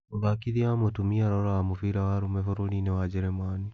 Muthakithia wa mũtumia aroraga mũbira wa arũme bũrũri-inĩ wa Njĩrĩmani